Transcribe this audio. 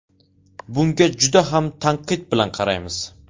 Bunga juda ham tanqid bilan qaraymiz.